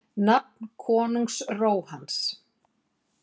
Nafn konungs Róhans.